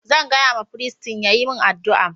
Zan gaya ma firist ya yi min addu'a